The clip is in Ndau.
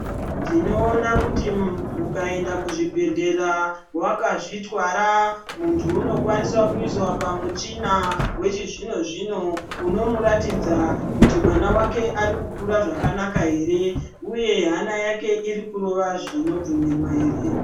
Tinoona kuti muntu ukaenda kuzvibhedhlera wakazvitwara muntu unokwanisa kuiswa pamuchina wechizvino zvino, unomuratidza kuti mwana wake uri kukura zvakanaka here uye hana yake iri kurova zvinobvumirwa here.